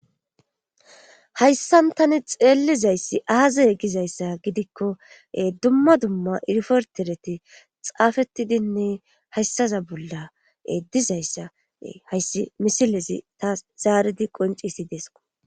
hayssan tani xeellizayssi aazay gizayssa gidikko dumma dumma irfertereti xaafettidinne hayssaza bolla dizayssa hayssi misilezi ta zaaridi qoncisi deesko